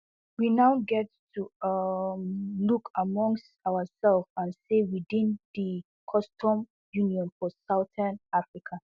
we now get to um look amongst ourselves and say within di customs union for southern africa